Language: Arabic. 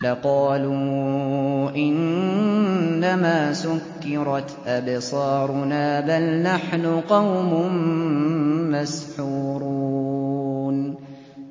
لَقَالُوا إِنَّمَا سُكِّرَتْ أَبْصَارُنَا بَلْ نَحْنُ قَوْمٌ مَّسْحُورُونَ